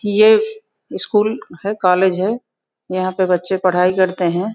ये स्कूल है कॉलेज है। यहाँ पे बच्चे पढ़ाई करते हैं।